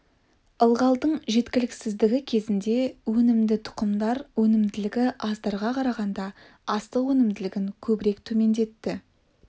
ылғалдың жеткіліксіздігі кезінде өнімді тұқымдар өнімділігі аздарға қарағанда астық өнімділігін көбірек төмендетті